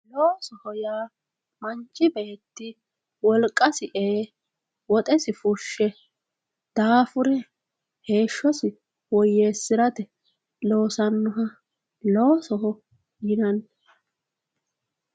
loosoho yinannihu manchi beetti wolqasi ee woxesi fushshe daafure heeshshosi woyyeessirate yaa assannoha loosoho yinanni.